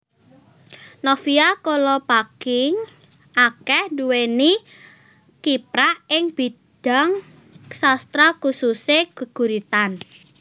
Novia Kolopaking akéh nduwéni kiprah ing bidhang sastra khususe geguritan